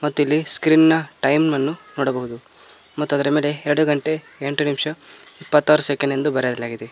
ಮತ್ತು ಇಲ್ಲಿ ಸ್ಕ್ರೀನ್ ನ ಟೈಮ್ ಅನ್ನು ನೋಡಬಹುದು ಮತ್ತು ಅದರ ಮೇಲೆ ಎರಡು ಗಂಟೆ ಎಂಟು ನಿಮಿಷ ಇಪ್ಪತ್ತಾರು ಸೆಕೆಂಡ್ ಎಂದು ಬರೆಯಲಾಗಿದೆ.